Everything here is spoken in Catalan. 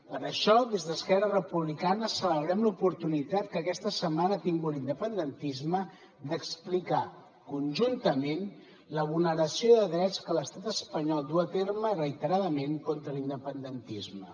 per això des d’esquerra republicana celebrem l’oportunitat que aquesta setmana ha tingut l’independentisme d’explicar conjuntament la vulneració de drets que l’estat espanyol duu a terme reiteradament contra l’independentisme